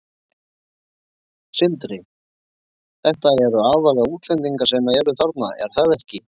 Sindri: Þetta eru aðallega útlendingar sem eru þarna, er það ekki?